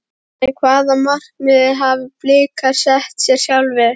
En hvaða markmið hafa Blikar sett sér sjálfir?